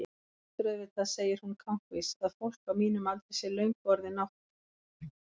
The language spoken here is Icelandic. Þú heldur auðvitað, segir hún kankvís, að fólk á mínum aldri sé löngu orðið nátt-